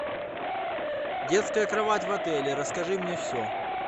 детская кровать в отеле расскажи мне все